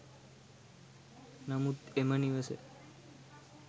නමුත් එම නිවස